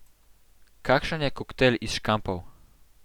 Kakšen je koktajl iz škampov?